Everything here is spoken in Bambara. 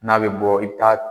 N'a bɛ bɔ i ta